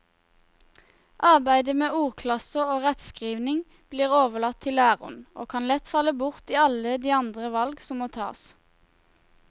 Arbeidet med ordklasser og rettskrivning blir overlatt til læreren og kan lett falle bort i alle de andre valg som må tas.